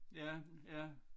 Ja ja